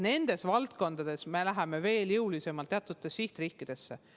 Nendes valdkondades me läheme veel jõulisemalt teatud sihtriikidesse.